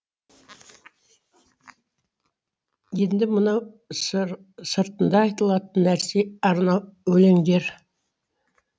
енді мынау сыртында айтылатын нәрсе арнау өлеңдер